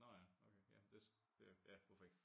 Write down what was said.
Nå ja okay ja men det ja hvorfor ikke